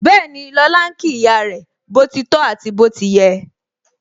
Bẹẹni, lọ́la ń kí ìyá rẹ, boti tọ àti bó ti yẹ